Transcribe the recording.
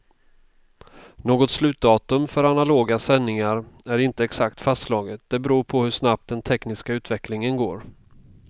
Något slutdatum för analoga sändningar är inte exakt fastslaget, det beror på hur snabbt den tekniska utvecklingen går.